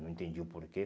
Não entendi o porquê.